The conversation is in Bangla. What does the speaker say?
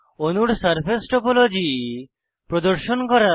অণুর সারফেস টোপোলজি প্রদর্শন করা